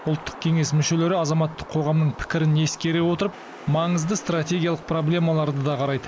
ұлттық кеңес мүшелері азаматтық қоғамның пікірін ескере отырып маңызды стратегиялық проблемаларды да қарайды